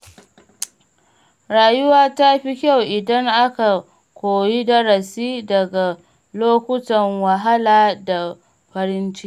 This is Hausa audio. Rayuwa ta fi kyau idan aka koyi darasi daga lokutan wahala da farin ciki.